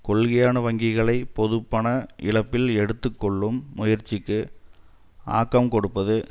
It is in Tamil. கொள்கையான வங்கிகளை பொதுப்பண இழப்பில் எடுத்து கொள்ளும் முயற்சிக்கு ஆக்கம் கொடுப்பது